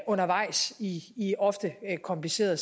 undervejs i i ofte komplicerede